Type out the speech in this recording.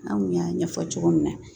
An kun y'a ɲɛfɔ cogo min na